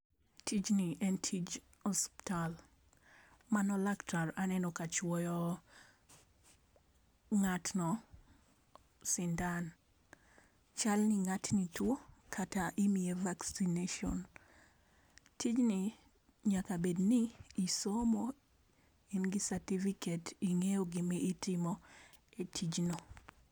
Tijni en tij osiptal mano laktar aneno ka chuoyo ng'atno sindan .Chal ni ng'atni two kata imiye vaccination tijni nyaka bed ni isomo in gi certificate ingeyo gi ma itimo e tijno.